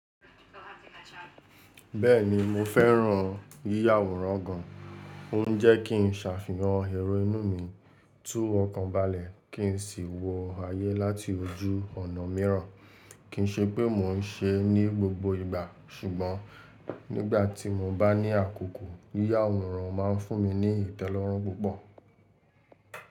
Bẹ́ẹ̀ni mo fẹ́ràn yíya àwòrán gan. O n jẹ́ kí n sàfihàn èrò inú mi, tú mu ọkàn balẹ̀, kí n sì wọ ayé láti ojú ọ̀nà míràn. Kìí ṣe pé mò n ṣeẹ́ ní gbogbo ìgbà, ṣùgbọ́n nígbà tì mo bá ní àkókò, yíya àwòrán ma n fún mi ní ìtẹ́lọ́rùn púpọ̀.